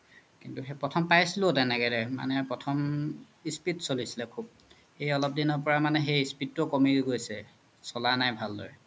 কিন্তু সেই প্ৰথম পাইছিলো তেনেকেই মানে প্ৰথম speed চ্লিছিলে খুব এই অলপ দিনৰ পাই speed তু কমি গৈছে চ্লা নাই ভাল দৰে